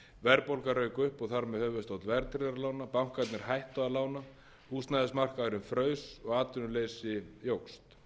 verðbólga rauk upp og þar með höfuðstóll verðtryggðra lána bankarnir hættu að lána húsnæðismarkaðurinn fraus og atvinnuleysi jókst